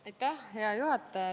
Hea juhataja!